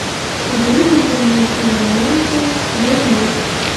выведи мне киноленту бурлеск